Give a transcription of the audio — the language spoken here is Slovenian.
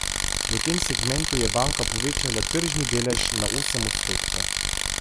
V tem segmentu je banka povečala tržni delež na osem odstotkov.